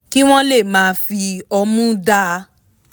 kí wọ́n lè máa fi ọmu dáa